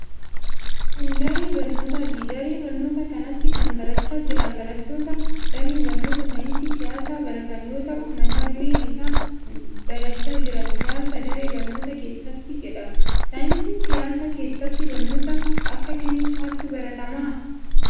Kun ,daree barnootaati. Daree barnootaa kanatti kan barachaa jiran barattoota damee barnootaa saayinsii siyaasaa baratan yoo ta'u, mata dureen isaan barachaa jiran siyaasa daree barnootaa keessatti jedha. Saayinsii siyaasaa keessatti barnoota akka kamii faatu baratama?